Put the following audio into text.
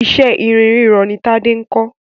Iṣẹ́ irin rírọ ni Tádé ń kọ́.